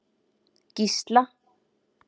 Gísla